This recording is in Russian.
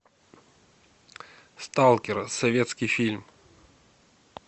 сталкер советский фильм